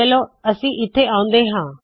ਚਲੋ ਅਸੀ ਇੱਥੇ ਆਉੰਦੇ ਹਾ